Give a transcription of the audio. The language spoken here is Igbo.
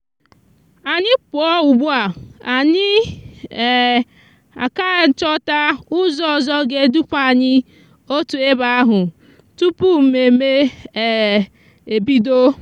anyi puo ugbua anyi um aka ichòta uzo ozo g'eduputa anyi otu ebe ahú tupu meme um ebido.